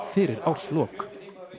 fyrir árslok